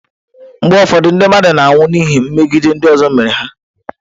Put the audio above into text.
Mgbe ụfọdụ ndị mmadụ na-anwụ n'ihi megide ndị ọzọ mere ha.